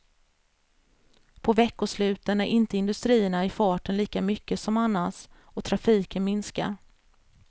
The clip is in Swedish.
På veckosluten är inte industrierna i farten lika mycket som annars, och trafiken minskar.